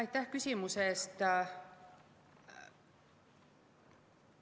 Aitäh küsimuse eest!